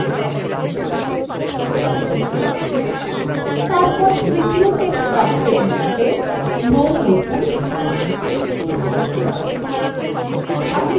তারপর তৃতীয় text box মধ্যে no লিখুন